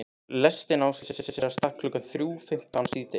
Lestin á að leggja af stað klukkan þrjú fimmtán síðdegis.